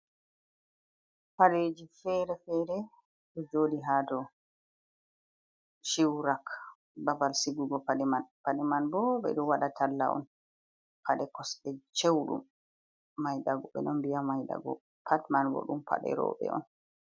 Paɗeeji feere feere ɗon jooɗi hadow ciwrak babal cigugo paɗe mann paɗe manbo ɓeɗon waɗa talla'on, paɗe kosɗe sewɗum, ɓeɗon mbi'a mai daɓo, pat maibo ɗum rewɓe'on.